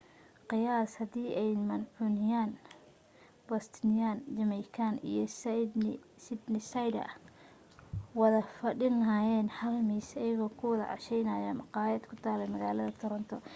qiyaas hadii ay mancunian bostonian jamaican iyo sydneysider wada fadhin laheyn hal miis iyago ku wada casheynayo maqaayad ku tala magaalada toronto